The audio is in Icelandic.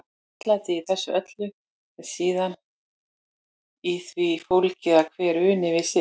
Réttlætið í þessu öllu er síðan í því fólgið að hver uni við sitt.